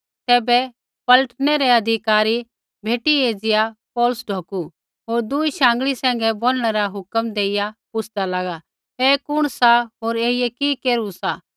तैबै पलटनै रै अधिकारी भेटी एज़िया पौलुस ढौकु होर दूई शाँगल़ी सैंघै बोनणै रा हुक्म देइया पुछ़दा लागा ऐ कुण सा होर ऐईयै कि केरू सा